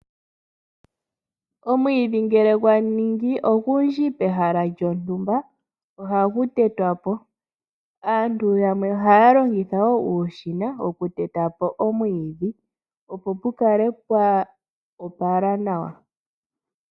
Omwiidhi ngele gwaningi ogundji pehala lyontumba ohagu tetwapo . Aantu yamwe ohaya longitha uushina moku tetapo omwiidhi opp pu kale pwa opala nawa.